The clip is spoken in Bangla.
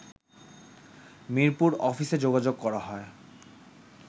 মিরপুর অফিসে যোগাযোগ করা হয়